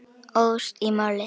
Óðst í málið.